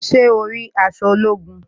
Ṣé o rí aṣọ ológun?